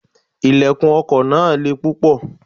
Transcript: Ilẹ̀kùn ọkọ̀ náà le púpọ̀.